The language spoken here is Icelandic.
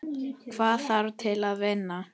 Hvað þarf til að vinna?